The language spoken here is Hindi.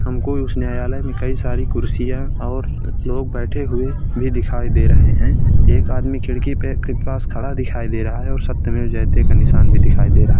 हम को उस न्यायालय में कई सारी कुर्सीयाँ और लोग बैठे हुऐ भी दिखाई दे रहे हैं। एक आदमी खिड़की पे खिड़की के पास खड़ा दिखाई दे रहा है और सत्य मेव जयते निशान भी दिखाई दे रहा है।